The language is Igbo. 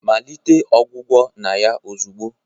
malite ọgwụgwọ na ya ozugbo!